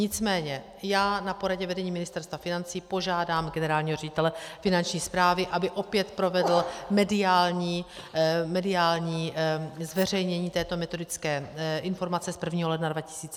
Nicméně já na poradě vedení Ministerstva financí požádám generálního ředitele Finanční správy, aby opět provedl mediální zveřejnění této metodické informace z 1. ledna 2017, to vám slibuji.